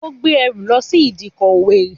Ó gbé ẹrù lọ sí ìdíkọ̀ òwèrì